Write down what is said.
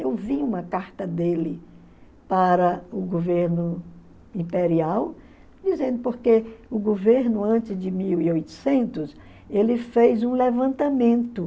Eu vi uma carta dele para o governo imperial, dizendo porque o governo, antes de mil e oitocentos, ele fez um levantamento.